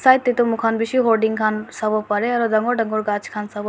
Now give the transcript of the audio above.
side te tu mor khan bisi gurding khan sabo pare aru dagur dagur khan gass khan sabo--